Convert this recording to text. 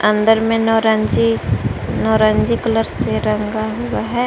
अंदर में नौरंगी नारंगी कलर से रंगा हुआ है।